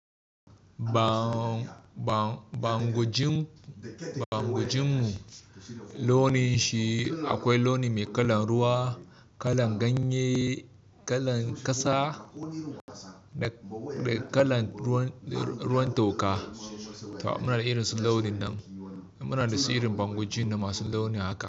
Bango-bangojin, bangojin mu launin shi akwai launi mai kalar ruwa, kalar ganye, kalar ƙasa da kalar ruwan toka. Muna da irin su launin nan. Muna da su irin bango-jin na masu launin haka.